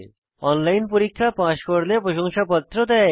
online পরীক্ষা pass করলে প্রশংসাপত্র দেয়